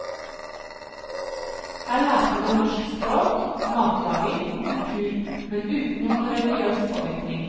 Her lærte de norsk språk, matlaging og kultur, men uten noen religiøs påvirkning.